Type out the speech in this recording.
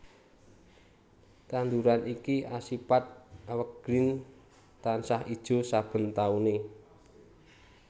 Tanduran iki asipat evergreen tansah ijo saben taune